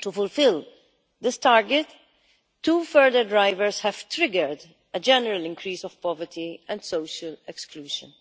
to fulfil this target, two further drivers have triggered a general increase in poverty and social exclusion.